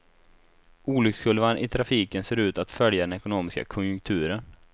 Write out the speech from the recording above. Olyckskurvan i trafiken ser ut att följa den ekonomiska konjunkturen.